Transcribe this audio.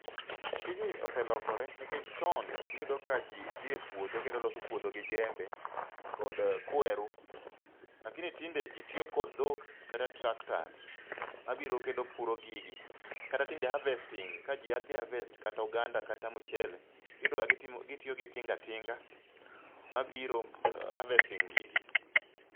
Tijni oselokore, nikech chon niyudo ka ji dhi e puodho, kendo loso puodho gi jembe kod kwer, lakini tinde ji tiyo kod dhok kod tractors mabiro kendo puro gigi, kata tinde harvesting ka ji dhi harvest kata oganda, kata mchele, iyudo ka gitimo, gitiyo gi tingatinga, mabiro harvesting gigi.